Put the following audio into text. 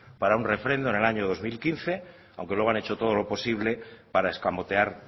para un refrendo en el año dos mil quince aunque luego han hecho todo lo posible para escamotear